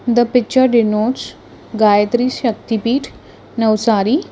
the picture denotes gayatri shaktipeeth navsari.